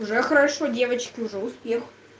уже хорошо девочки уже успех